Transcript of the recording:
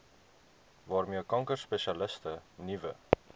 waarmee kankerspesialiste nuwe